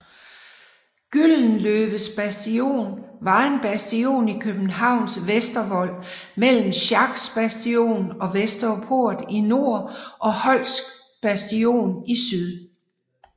Gyldenløves Bastion var en bastion i Københavns Vestervold mellem Schacks Bastion og Vesterport i nord og Holcks Bastion i syd